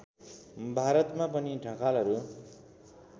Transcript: भारतमा पनि ढकालहरू